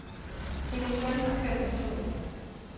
Hendes søn har kørt med toget.